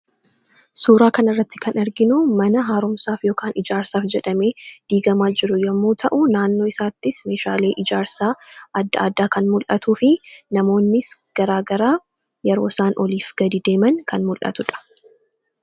suuraa kana irratti kan arginu mana haaromsaaf yookaan ijaarsaaf jedhame diigamaa jiru yommuu ta'u naannoo isaattis meeshaalii ijaarsaa adda addaa kan mul'atuu fi namoonnis garaagaraa yeroo isaan oliif gad deeman kan mul'atudha